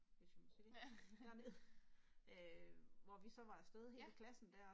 Hvis vi må sige, dernede øh, hvor vi så var afsted hele klassen der